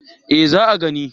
Eh za a gina